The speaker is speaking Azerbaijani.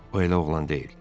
O elə oğlan deyil.